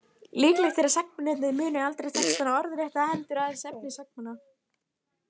Líklegt er að sagnamennirnir muni textana aldrei orðrétta, heldur aðeins efni sagnanna.